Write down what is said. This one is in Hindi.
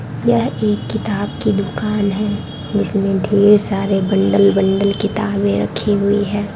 यह एक किताब की दुकान है जिसमें ढ़ेर सारे बंडल बंडल किताबें रखी हुई है।